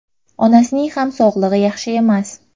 Onasining ham sog‘ligi yaxshi emas.